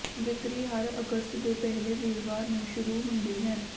ਵਿਕਰੀ ਹਰ ਅਗਸਤ ਦੇ ਪਹਿਲੇ ਵੀਰਵਾਰ ਨੂੰ ਸ਼ੁਰੂ ਹੁੰਦੀ ਹੈ